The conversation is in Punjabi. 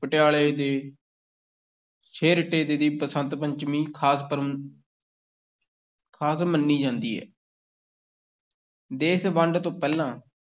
ਪਟਿਆਲੇ ਤੇ ਛੇਹਰਟਾ ਦੀ ਬਸੰਤ ਪੰਚਮੀ ਖ਼ਾਸ ਪ੍ਰ ਖ਼ਾਸ ਮੰਨੀ ਜਾਂਦੀ ਹੈ ਦੇਸ ਵੰਡ ਤੋਂ ਪਹਿਲਾਂ